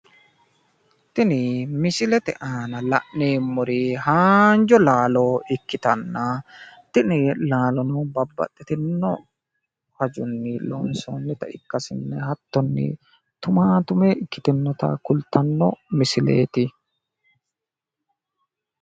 tini misilete aana la'neemmori haanja laalo ikkitanna tini laalo babbaxxitino hajonni loonsoonnita ikkaseenni hattoni tumaatume ikkitinota kultanno misileeti.